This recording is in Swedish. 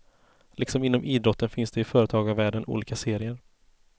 Liksom inom idrotten finns det i företagarvärlden olika serier.